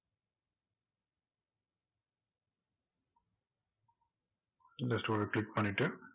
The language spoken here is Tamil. இந்த tool அ click பண்ணிட்டு